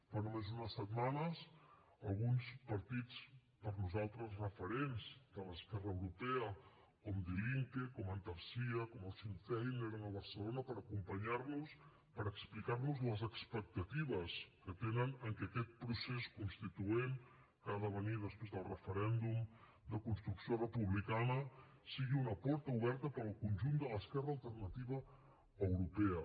fa només unes setmanes alguns partits per nosaltres referents de l’esquerra europea com die linke com antarsya com el sinn féin eren a barcelona per acompanyar nos per explicar nos les expectatives que tenen en que aquest procés constituent que ha de venir després del referèndum de construcció republicana sigui una porta oberta per al conjunt de l’esquerra alternativa europea